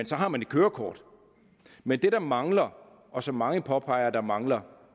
så har man et kørekort men det der mangler og som mange påpeger at der mangler